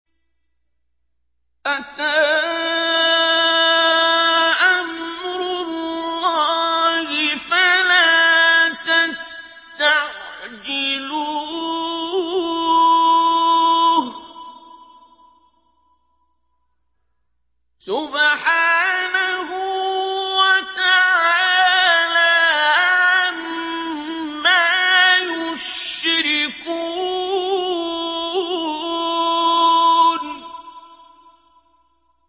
أَتَىٰ أَمْرُ اللَّهِ فَلَا تَسْتَعْجِلُوهُ ۚ سُبْحَانَهُ وَتَعَالَىٰ عَمَّا يُشْرِكُونَ